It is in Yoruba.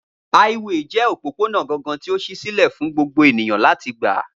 Háíwèè jẹ́ òpópónà gangan tí ó ṣí sílẹ̀ fún gbogbo ènìyàn láti gbà